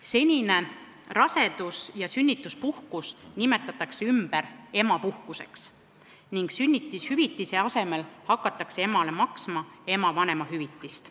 Senine rasedus- ja sünnituspuhkus nimetatakse ümber emapuhkuseks ning sünnitushüvitise asemel hakatakse emale maksma ema vanemahüvitist.